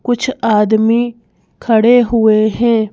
कुछ आदमी खड़े हुए हैं।